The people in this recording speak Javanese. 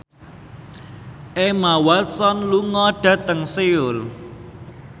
Emma Watson lunga dhateng Seoul